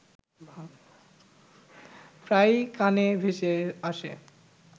প্রায়ই কানে ভেসে আসে